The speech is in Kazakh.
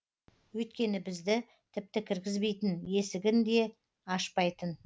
өйткені бізді тіпті кіргізбейтін есігін де ашпайтын